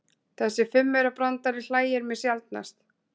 Þessi fimmaurabrandari hlægir mig sjaldnast.